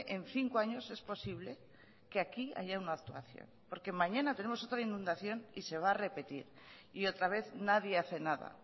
en cinco años es posible que aquí haya una actuación porque mañana tenemos otra inundación y se va a repetir y otra vez nadie hace nada